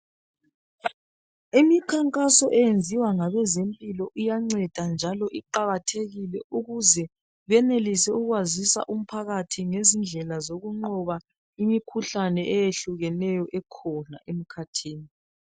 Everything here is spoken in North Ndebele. Imikhankaso eyenziwa ngabezempilo iyanceda njalo iqakathekile ukuze benelise ukwazisa umphakathi ngezindlela zokunqoba imikhuhlane eyehlukeneyo ekhona emkhathini.